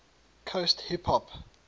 coast hip hop